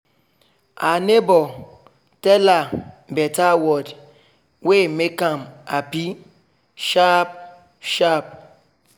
her neighbor tell her better word wey make am happy sharp sharp